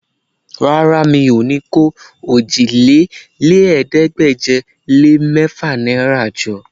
Rárá, mi ò ní kó òjìlélẹ́ẹ̀ẹ́dégbèje-lé-mẹ́fà náìrà jọ